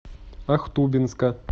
ахтубинска